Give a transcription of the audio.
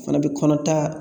O fana bɛ kɔnɔta